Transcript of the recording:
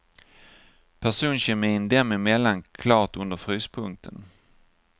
Personkemin dem emellan klart under fryspunkten.